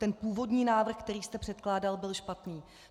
Ten původní návrh, který jste předkládal, byl špatný.